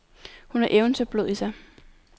Hun har eventyrblod i sig.